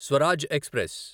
Swaraj express